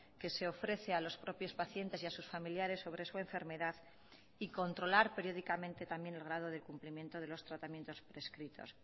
que se ofrece a los propios pacientes y a sus familiares sobre su enfermedad y controlar periódicamente también el grado de cumplimiento de los tratamientos prescritos